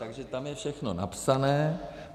Takže tam je všechno napsané.